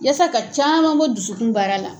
Yasa ka caman bɔ dusukun baara la.